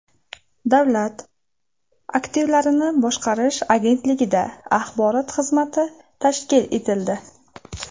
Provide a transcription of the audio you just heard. Davlat aktivlarini boshqarish agentligida axborot xizmati tashkil etildi.